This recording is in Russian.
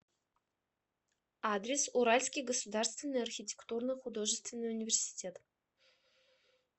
адрес уральский государственный архитектурно художественный университет